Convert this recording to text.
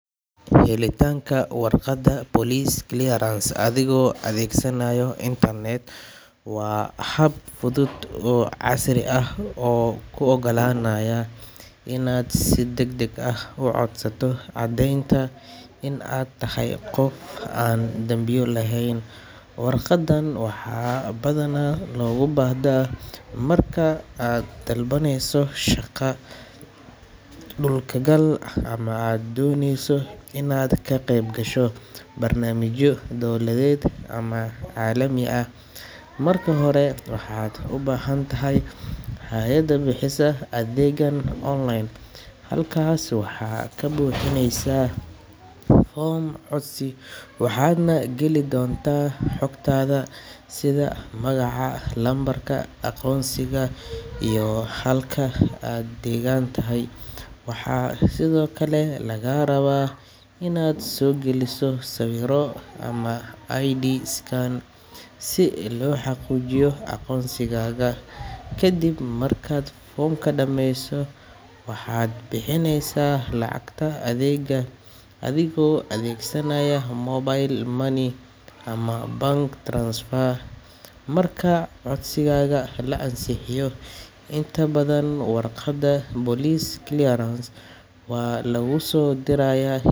Helitaanka warqadda police clearance adigoo adeegsanaya internet waa hab fudud oo casri ah oo kuu oggolaanaya inaad si degdeg ah u codsato caddeynta in aad tahay qof aan dambiyo lahayn. Warqaddan waxaa badanaa looga baahdaa marka aad dalbaneyso shaqo, dal-ku-gal ama aad dooneyso inaad ka qayb gasho barnaamijyo dowladeed ama caalami ah. Marka hore, waxaad u baahantahay in aad gasho bogga rasmiga ah ee booliska ama hay’adda bixisa adeeggan online. Halkaas waxaad ka buuxinaysaa foom codsi, waxaadna geli doontaa xogtaada sida magaca, lambarka aqoonsiga, iyo halka aad deggan tahay. Waxaa sidoo kale lagaa rabaa inaad soo geliso sawir ama ID scan si loo xaqiijiyo aqoonsigaaga. Kadib markaad foomka dhammayso, waxaad bixinaysaa lacagta adeegga adigoo adeegsanaya mobile money ama bank transfer. Marka codsigaaga la ansixiyo, inta badan warqadda police clearance waa laguugu soo dirayaa.